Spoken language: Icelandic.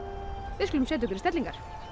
við skulum setja okkur í stellingar